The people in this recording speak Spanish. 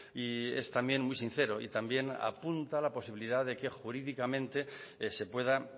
y es también muy sincero y también apunta la posibilidad de que jurídicamente se puedan